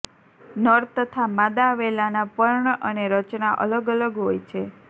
નર તથા માદા વેલાના પર્ણ અને રચના અલગ અલગ હોય છે